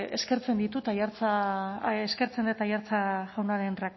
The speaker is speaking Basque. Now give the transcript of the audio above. eskertzen dut aiartza jaunaren